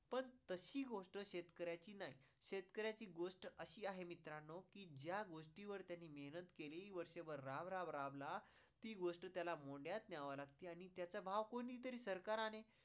तशी गोष्ट शेतकऱ्याची नाही, शेतकऱ्याची गोष्ट अशी आहे मित्रांनो की ज्या गोष्टीवर त्यांनी मेहनत केली, वर्षभर राब राब राबला ती गोष्ट त्याला न्ह्यावी लागते आणि त्याचा भाव कोणी तरी सरकारने